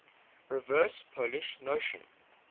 reverse polish notation